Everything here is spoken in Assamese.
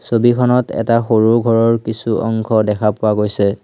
ছবিখনত এটা সৰু ঘৰৰ কিছু অংশ দেখা পোৱা গৈছে।